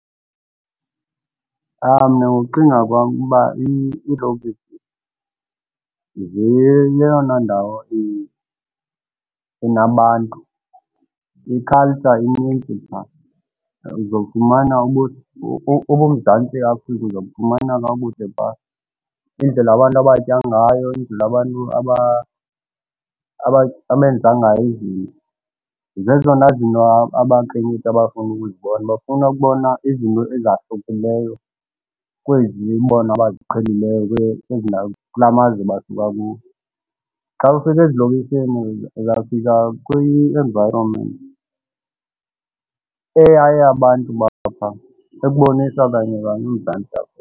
Mna ngokucinga kwam uba iilokishi zeyeyona ndawo enabantu. I-culture inintsi pha, uzofumana ubuMzantsi Afrika uzobufumana kakuhle phaa. Indlela abantu abatya ngayo, indlela abantu abenza ngayo izinto zezona zinto abakhenkethi abafuna ukuzibona. Bafuna ukubona izinto ezahlukileyo kwezi bona abaziqhelileyo kwezi ndawo kulaa mazwe basuka kuwo. Xa ufika ezilokishini uzawufika kwi-environment eyayabantu baphaa, ekubonisa kanye kanye uMzantsi Afrika.